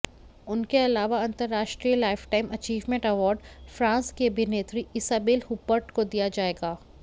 उनके अलावा अंतरराष्ट्रीय लाइफटाइम अचीवमेंट अवार्ड फ्रांस की अभिनेत्री इसाबेल हूपर्ट को दिया जाएगा